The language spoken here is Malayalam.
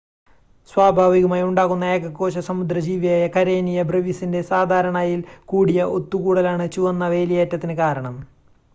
സ്വാഭാവികമായി ഉണ്ടാകുന്ന ഏകകോശ സമുദ്ര ജീവിയായ കരേനിയ ബ്രെവിസിൻ്റെ സാധാരണയിൽ കൂടിയ ഒത്തുകൂടലാണ് ചുവന്ന വേലിയേറ്റത്തിന് കാരണം